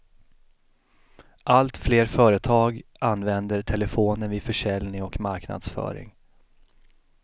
Allt fler företag använder telefonen vid försäljning och marknadsföring.